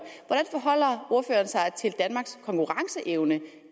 sig til danmarks konkurrenceevne